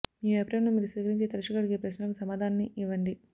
మీ వ్యాపారంలో మీరు స్వీకరించే తరచుగా అడిగే ప్రశ్నలకు సమాధానాన్ని ఇవ్వండి